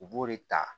U b'o de ta